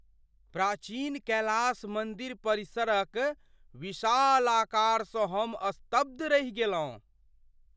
प्राचीन कैलास मन्दिर परिसरक विशाल आकारसँ हम स्तब्ध रहि गेलहुँ।